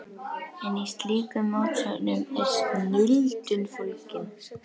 En í slíkum mótsögnum er snilldin fólgin.